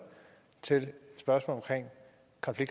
til det spørgsmål